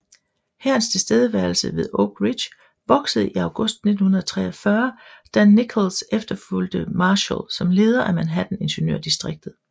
Hærens tilstedeværelse ved Oak Ridge voksede i august 1943 da Nichols efterfulgte Marshall som leder af Manhattan ingeniørdistriktet